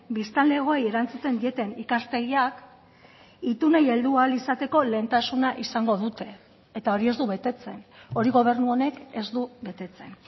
biztanlegoei erantzuten dieten ikastegiak itunei heldu ahal izateko lehentasuna izango dute eta hori ez du betetzen hori gobernu honek ez du betetzen